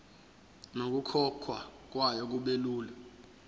nokukhokhwa kwayo kubelula